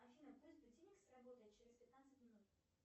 афина пусть будильник сработает через пятнадцать минут